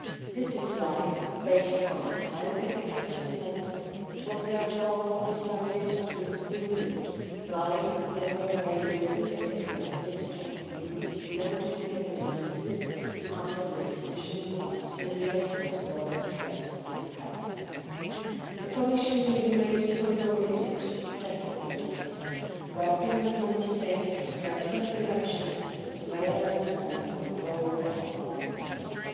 This is why, based on a scientific assessment, it was therefore decided to include Lyme neuroborreliosis in the list of EU notifiable diseases under the decision on serious cross-border threats to health. The Commission remains fully committed to tackle the disease, working with Member States to strengthen prevention, surveillance and control of Lyme disease.